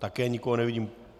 Také nikoho nevidím.